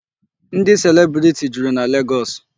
Ndị celebrity juru na Legọọsị.